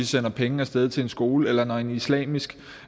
sender penge af sted til en skole eller når en islamisk